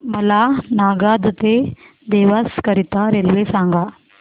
मला नागदा ते देवास करीता रेल्वे सांगा